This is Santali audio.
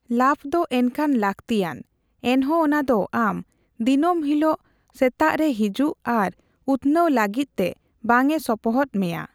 ᱞᱟᱵᱷᱫᱚ ᱮᱱᱠᱷᱟᱱ ᱞᱟᱹᱠᱛᱤᱭᱟᱱ, ᱮᱱᱦᱚᱸ ᱚᱱᱟᱫᱚ ᱟᱢ ᱫᱤᱱᱟᱹᱢ ᱦᱤᱞᱳᱜ ᱥᱮᱛᱟᱜᱽᱨᱮ ᱦᱤᱡᱩᱜ ᱟᱨ ᱩᱛᱱᱟᱹᱣ ᱞᱟᱹᱜᱤᱫᱛᱮ ᱵᱟᱝᱼᱮ ᱥᱚᱯᱚᱦᱚᱫ ᱢᱮᱭᱟ ᱾